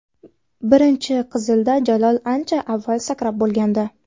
Birinchi qizilda Jalol ancha avval sakrab bo‘lgandi.